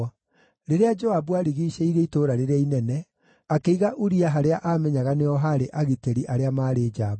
Rĩrĩa Joabu aarigiicĩirie itũũra rĩrĩa inene, akĩiga Uria harĩa aamenyaga nĩho haarĩ agitĩri arĩa maarĩ njamba.